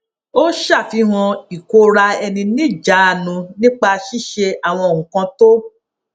ó ṣàfihàn ìkóraẹniníjàánu nípa ṣíṣe àwọn nǹkan tó